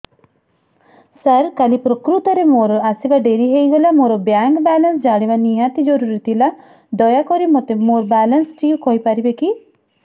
ସାର କାଲି ପ୍ରକୃତରେ ମୋର ଆସିବା ଡେରି ହେଇଗଲା ମୋର ବ୍ୟାଙ୍କ ବାଲାନ୍ସ ଜାଣିବା ନିହାତି ଜରୁରୀ ଥିଲା ଦୟାକରି ମୋତେ ମୋର ବାଲାନ୍ସ ଟି କହିପାରିବେକି